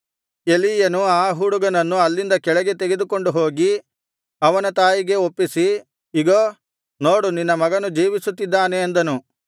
ಎಲೀಯನು ಆ ಹುಡುಗನನ್ನು ಅಲ್ಲಿಂದ ಕೆಳಗೆ ತೆಗೆದುಕೊಂಡು ಹೋಗಿ ಅವನ ತಾಯಿಗೆ ಒಪ್ಪಿಸಿ ಇಗೋ ನೋಡು ನಿನ್ನ ಮಗನು ಜೀವಿಸುತ್ತಿದ್ದಾನೆ ಅಂದನು